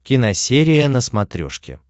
киносерия на смотрешке